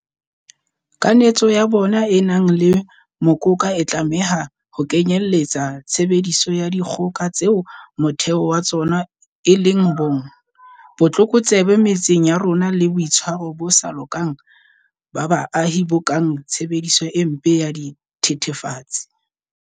Kanetso ya bona e nang le mokoka e tlameha ho kenyeletsa tshebediso ya dikgoka tseo motheo wa tsona e leng bong, botlokotsebe metseng ya rona le boitshwaro bo sa lokang ba baahi bo kang tshebediso e mpe ya dithe thefatsi.